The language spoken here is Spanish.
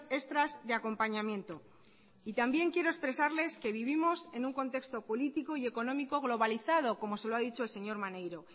extras de acompañamiento también quiero expresarles que vivimos en un contexto político y económico globalizado como se lo ha dicho el señor maneiro